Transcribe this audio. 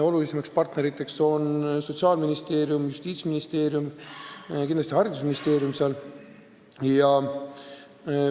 Olulisemad partnerid on seal Sotsiaalministeerium ja Justiitsministeerium, kindlasti ka Haridus- ja Teadusministeerium.